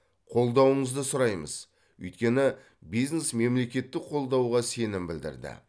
қолдауыңызды сұраймыз өйткені бизнес мемлекеттік қолдауға сенім білдірді